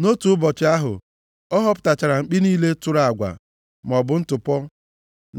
Nʼotu ụbọchị ahụ, ọ họpụtachara mkpi niile tụrụ agwa maọbụ ntụpọ